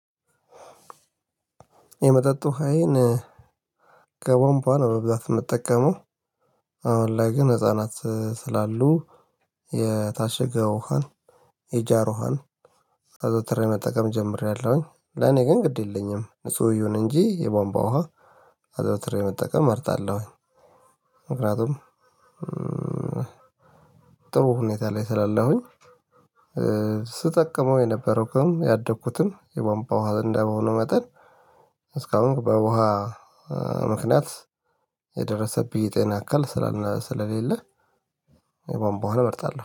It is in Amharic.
የመጠጥ ውሃዬን ከቧንቧ ነው በብዛት የምጠቀመው አሁን ላይ ግን ህፃናት ስላሉ የታሸገ ውሃን የጃር ውሃን መጠቀም ጀምሬያለሁኝ ለኔ ግን ግድ የለኝም ንጹህ ይሁን እንጂ የቧንቧ ውሃ አዘውትረ መጠቀም እመርጣለሁኝ። ምክንያቱም ጥሩ ሁኔታ ላይ ስላለሁኝ ስጠቀመው የነበረው ግን ያደግኩትም የቧንቧ ውሃ እንደሆነ መጠን እስካሁን በውሃ ምክንያት የደረሰብኝ ጤና እክል ስለሌለ። የቧንቧ ውሃን እመርጣለሁ